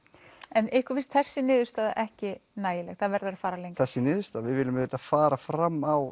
en ykkur finnst þessi niðurstaða ekki nægileg það verður að fara lengra þessi niðurstaða við viljum fara fram á